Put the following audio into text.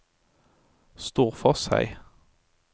Storforshei